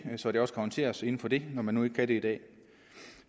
så det også kan håndteres inden for den når man nu ikke kan det i dag